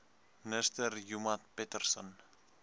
minister joemat pettersson